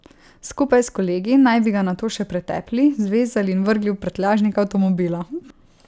Skupaj s kolegi naj bi ga nato še pretepli, zvezali in vrgli v prtljažnik avtomobila.